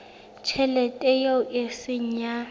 tjhelete eo e seng ya